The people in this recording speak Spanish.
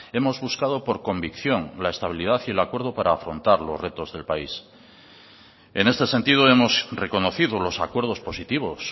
hemos buscado por convicción la estabilidad y el acuerdo para afrontar los retos del país en este sentido hemos reconocido los acuerdos positivos